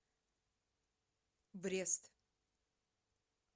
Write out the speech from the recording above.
брест